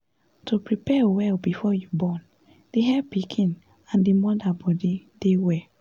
to prepare well before you born dey help pikin and d moda body dey well